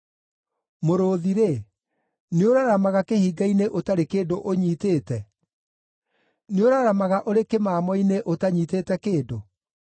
Mũrũũthi-rĩ, nĩũraramaga kĩhinga-inĩ ũtarĩ kĩndũ ũnyiitĩte? Nĩũraramaga ũrĩ kĩmamo-inĩ ũtanyiitĩte kĩndũ?